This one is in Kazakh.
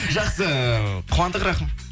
жақсы қуандық рахым